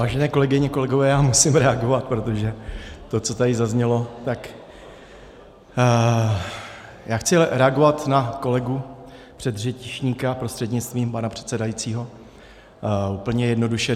Vážené kolegyně, kolegové, já musím reagovat, protože to, co tady zaznělo - tak já chci reagovat na kolegu předřečníka prostřednictvím pana předsedajícího úplně jednoduše.